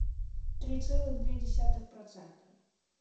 три целых два десятых процента